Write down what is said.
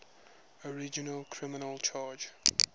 original criminal charge